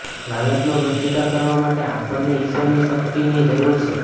લાલચનો પ્રતિકાર કરવા માટે આપણને ઈશ્વરની શક્તિની જરૂર છે